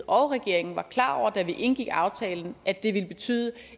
og regeringen var klar over da vi indgik aftalen at det ville betyde